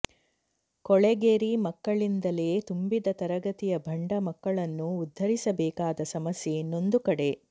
ಕೊಳೆಗೇರಿ ಮಕ್ಕಳಿಂದಲೇ ತುಂಬಿದ ತರಗತಿಯ ಭಂಡ ಮಕ್ಕಳನ್ನು ಉದ್ಧರಿಸಬೇಕಾದ ಸಮಸ್ಯೆ ಇನ್ನೊಂದು ಕಡೆ